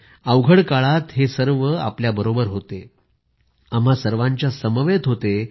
अवघड काळात हे आपल्याबरोबर होते आम्हा सर्वांच्या समवेत होते